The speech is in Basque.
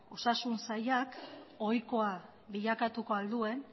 osasun sailak ohikoa bilakatuko ahal duen